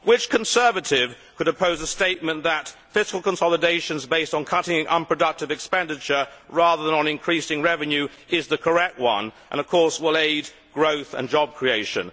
Which Conservative could oppose a statement that fiscal consolidations based on cutting unproductive expenditure, rather than on increasing revenue, is the correct one and will aid growth and job creation?